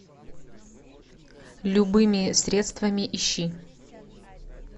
любыми средствами ищи